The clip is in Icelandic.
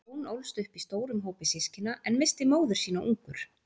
Jón ólst upp í stórum hópi systkina, en missti móður sína ungur.